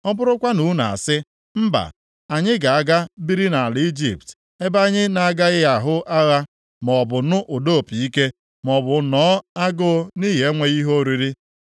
ọ bụrụkwa na unu asị, ‘Mba, anyị ga-aga biri nʼala Ijipt ebe anyị na-agaghị ahụ agha, maọbụ nụ ụda opi ike, maọbụ nọọ agụụ nʼihi enweghị ihe oriri,’